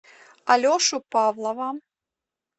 алешу павлова